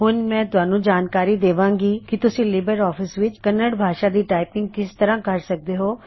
ਹੁਣ ਮੈਂ ਤੁਹਾਨੂੰ ਵਿਸਤਾਰ ਨਾਲ ਜਾਣਕਾਰੀ ਦੇਵਾਗਾਂ ਕੀ ਤੁਸੀਂ ਲਿਬਰ ਆਫਿਸ ਵਿਚ ਕੰਨੜ ਭਾਸ਼ਾ ਦੀ ਟਾਇਪੰਗ ਕਿਸ ਤਰ੍ਹਾ ਕਰ ਸਕਦੇ ਹੋਂ